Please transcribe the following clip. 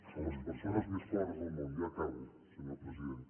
a les persones més pobres del món ja acabo senyor president